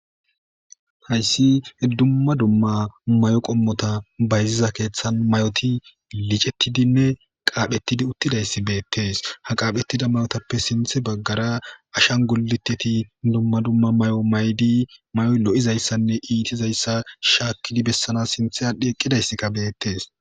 Hayssi dumma dumma may7o qommota bayziza keeththan may7oti licettidinne qaaphetidi uttidayssi beettees ha qaaphettida mayotappe sinthe baggara ashan goliteti dumma dumma may7o may7di may7oy lo7izayssanne iitizayssa shaakkidi bessanas sinthe aadhdhi eqqidayssi qabeettees.